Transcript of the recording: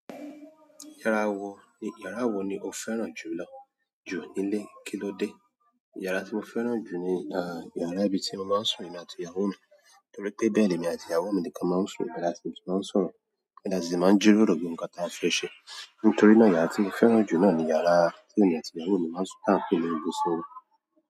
Yàrá wò, yàrá wò ni o fẹ́ràn jù lọ jù nílé, kílódé? Yàrá tí mo fẹ́ràn jù ni, ah, yàrá ibi tí mo máa ń sùn emí àti ìyàwó mi. Nítorí pé bẹ́ẹ̀ ni èmi àti ìyàwó mi nìkan máa ń sùn. Ibe latí máa ń sọ̀rọ̀, ibe latí máa ń jíròrò bí ohun kan tí a fi ṣe. Nítorí náà yàrá tí mo fẹ́ràn jù náà ni yàrá tí èmi àti ìyàwó mi máa ń sùn tán pẹ̀ni ibùsọ̀rọ̀.